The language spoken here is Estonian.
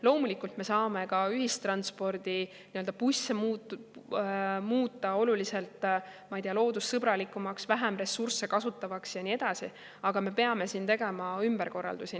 Loomulikult me saame ka ühistranspordi, bussi muuta oluliselt, ma ei tea, loodussõbralikumaks, vähem ressursse kasutavaks ja nii edasi, aga me peame siin tegema ümberkorraldusi.